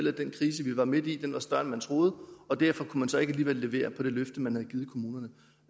at den krise vi var midt i var større end man troede og derfor kunne man så alligevel ikke levere på det løfte man havde givet kommunerne